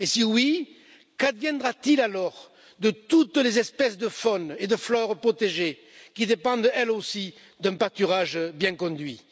Et si oui, qu'adviendra t il alors de toutes les espèces de faune et de flore protégées qui dépendent, elles aussi, d'un pâturage bien conduit?